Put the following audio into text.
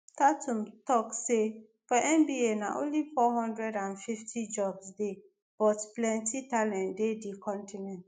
tatun tok say "for nba na only 450 jobs dey but plenti talent dey di continent